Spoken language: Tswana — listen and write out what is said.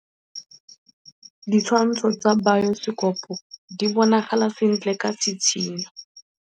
Ditshwantshô tsa biosekopo di bonagala sentle ka tshitshinyô.